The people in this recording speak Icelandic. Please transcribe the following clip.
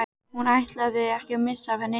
Hún ætlaði ekki að missa af neinu.